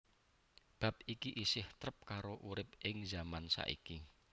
Bab iki isih trep karo urip ing zaman saiki